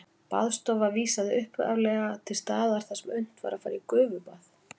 Baðstofa vísaði upphaflega til staðar þar sem unnt var að fara í gufubað.